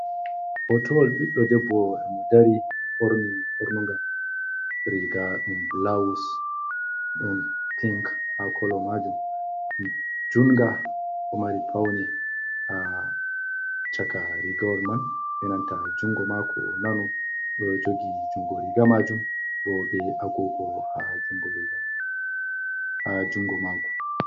Hotowal ɓiɗɗo debbo mo dari ɓorni bornugar riga ɗum bulawus ɗon pink ha kolo majum jungo bo mari paune ha chaka rigawol man enanta jungo mako nano ɗo jogi jungo riga majum bo be agogo ha jungo mako.